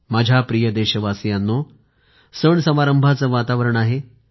माझ्या प्रिय देशवासियांनो सण समारंभांचे वातावरण आहे